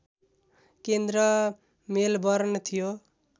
केन्द्र मेलबर्न थियो